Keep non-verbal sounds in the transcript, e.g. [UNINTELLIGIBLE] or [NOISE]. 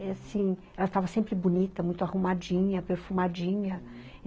[UNINTELLIGIBLE] Ela estava sempre bonita, muito arrumadinha, perfumadinha, uhum.